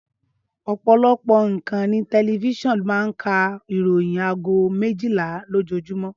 Ọpọlọpọ ìkànnì tẹlifiṣionu máa ń ka ìròyìn àgó méjìlá lojójúmõ